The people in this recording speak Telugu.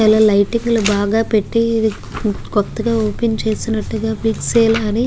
చాలా లైటింగ్ లు బాగా పేటి కొత్తగా ఓపెన్ చేసినట్టుగా బిగ్ సేల్ అని --